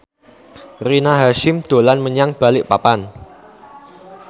Rina Hasyim dolan menyang Balikpapan